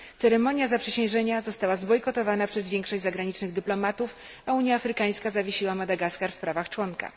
Ceremonia zaprzysiężenia została zbojkotowana przez większość zagranicznych dyplomatów, a Unia Afrykańska zawiesiła Madagaskar w prawach członka.